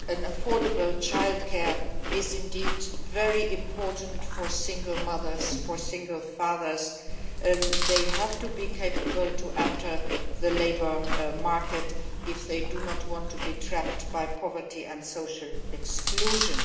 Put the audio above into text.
Affordable childcare is very important for single mothers and single fathers, who have to be able to enter the labour market if they do not want to be trapped by poverty and social exclusion.